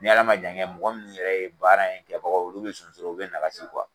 Ni Ala ma jan kɛ mɔgɔ minnu yɛrɛ ye baara in kɛbagaw ye, olu bɛ sonsoro, u bɛ nagasi kuwa!